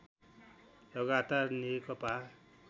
लगातार नेकपा